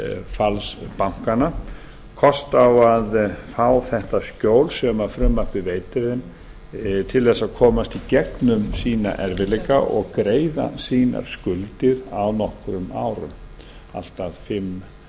falls bankanna kost á að fá þetta skjól sem frumvarpið veitir þeim til að komast í gegnum sína erfiðleika og greiða sínar skuldir á nokkrum árum allt að fimm